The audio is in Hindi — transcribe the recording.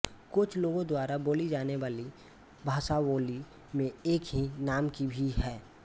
कोच लोगों द्वारा बोली जाने वाली भाषाबोली में एक ही नाम की भी है